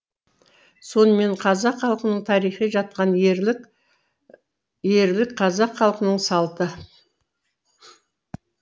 сонымен қазақ халқының тарихы жатқан ерлік ерлік қазақ халқының салты